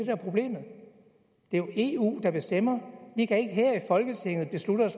er problemet det er jo eu der bestemmer vi kan ikke her i folketinget